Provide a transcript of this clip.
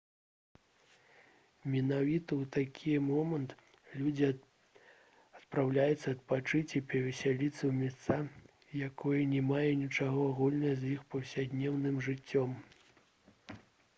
менавіта ў такі момант людзі адпраўляюцца адпачыць і павесяліцца ў месца якое не мае нічога агульнага з іх паўсядзённым жыццём